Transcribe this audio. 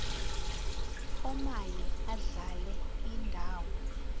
omaye adlale indawo